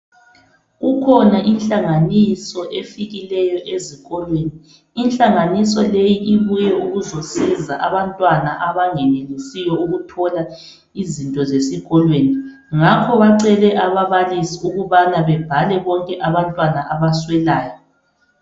Kukhona ihlanganiso efikileyo ezikolweni ihlanganiso leyi ibuye ukuzosiza abantwana abangenelisiyo ukuthola izinto zesikolweni ngakho bacele ababalisi ukubana bebhale bonke abantwana abaswelayo.